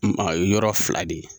Maa yɔrɔ fila de ye.